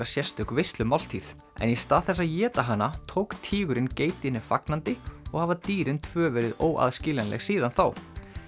sérstök veislumáltíð en í stað þess að éta hana tók tígurinn geitinni fagnandi og hafa dýrin tvö verið óaðskiljanleg síðan þá